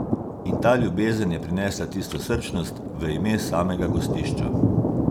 In ta ljubezen je prinesla tisto srčnost v ime samega gostišča.